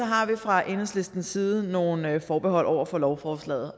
har vi fra enhedslistens side nogle forbehold over for lovforslaget